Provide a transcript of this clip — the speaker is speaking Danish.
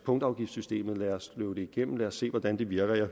punktafgiftssystemet lad os løbe det igennem lad os se hvordan det virker